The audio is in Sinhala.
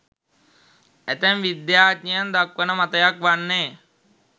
ඇතැම් විද්‍යාඥයන් දක්වන මතයක් වන්නේ